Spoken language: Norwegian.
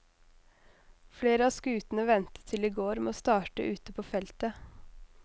Flere av skutene ventet til i går med å starte ute på feltet.